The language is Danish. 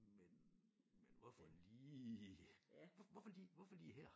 Men men hvorfor lige hvorfor lige hvorfor lige her?